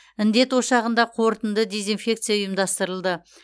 індет ошағында қорытынды дезинфекция ұйымдастырылды